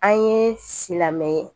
An ye silamɛ ye